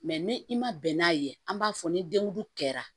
Mɛ ni i ma bɛn n'a ye an b'a fɔ ni dengulu kɛra